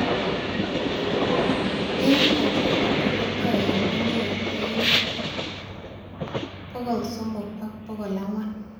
Eng katiakati ko toek kongetee 300 ak 400